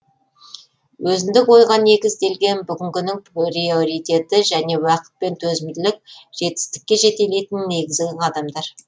өзіндік ойға негізделген бүгінгінің приоритеті және уақыт пен төзімділік жетістікке жетелейтін негізгі қадамдар